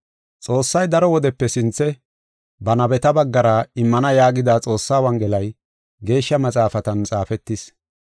Xoossay daro wodepe sinthe ba nabeta baggara immana yaagida Xoossaa Wongelay Geeshsha Maxaafatan xaafetis.